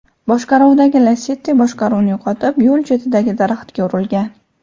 boshqaruvidagi Lacetti boshqaruvni yo‘qotib, yo‘l chetidagi daraxtga urilgan.